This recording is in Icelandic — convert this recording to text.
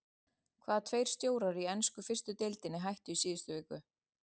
Hvaða tveir stjórar í ensku fyrstu deildinni hættu í síðustu viku?